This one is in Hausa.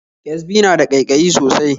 Ƙyasbi na da ƙaiƙayi sosai